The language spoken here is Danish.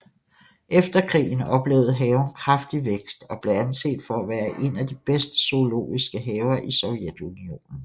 Efter krigen oplevede haven kraftig vækst og blev anset for at være en af de bedste zoologiske haver i Sovjetunionen